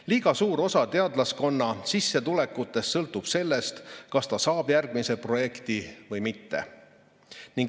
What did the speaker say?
Liiga suur osa teadlase sissetulekust sõltub sellest, kas ta saab järgmise projekti või mitte.